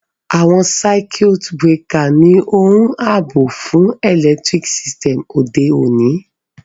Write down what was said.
Àwon circuit breaker ni oun àbò fun electric system òde ọ̀ní